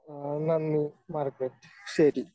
ആ നന്ദി മാർഗരറ്റ്, ശരി.